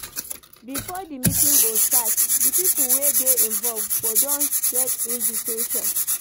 Before di meeting go start, di pipo wey dey involve go don get invitiation